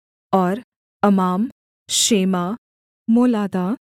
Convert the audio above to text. और अमाम शेमा मोलादा